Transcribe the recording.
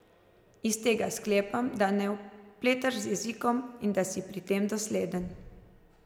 Iz tega sklepam, da ne opletaš z jezikom in da si pri tem dosleden.